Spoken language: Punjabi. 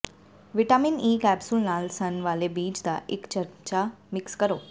ਵਿਟਾਮਿਨ ਈ ਕੈਪਸੂਲ ਨਾਲ ਸਣ ਵਾਲੇ ਬੀਜ ਦਾ ਇਕ ਚਮਚਾ ਮਿਕਸ ਕਰੋ